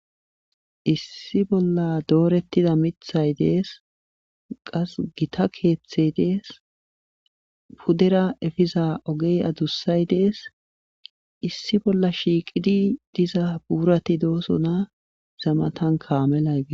issi b0lla doorettida mithay dees qassi githa keethey dees pudera efiza ogey adussay dees issi bolla shiiqidi diza buurati doosona iza matankka kaamelay des.